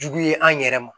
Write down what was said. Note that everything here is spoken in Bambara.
Jugu ye an yɛrɛ ma